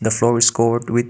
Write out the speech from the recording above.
the floor is covered with